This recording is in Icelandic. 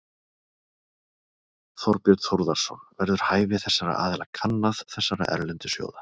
Þorbjörn Þórðarson: Verður hæfi þessara aðila kannað, þessara erlendu sjóða?